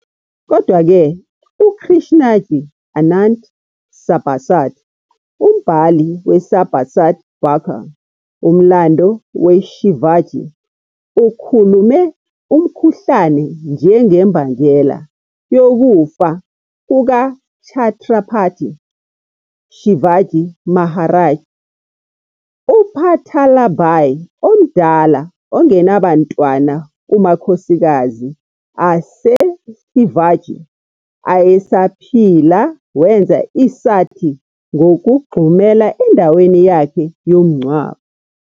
Kodwa-ke, uKrishnaji Anant Sabhasad, umbhali weSabhasad Bakhar, umlando weShivaji ukhulume umkhuhlane njengembangela yokufa kukaChhatrapati Shivaji Maharaj. UPutalabai, omdala ongenabantwana kumakhosikazi aseShivaji ayesaphila wenza i-sati ngokugxumela endaweni yakhe yomngcwabo.